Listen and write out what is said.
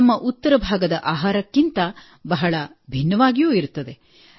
ನಮ್ಮ ಉತ್ತರ ಭಾಗದ ಆಹಾರಕ್ಕಿಂತ ಬಹಳ ಭಿನ್ನವಾಗಿರುತ್ತದೆ